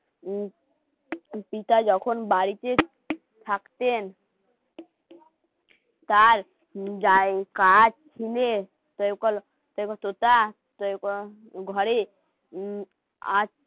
উম টুকিটা যখন বাড়িতে থাকতেন তার ছিনে তোতা ঘরে উম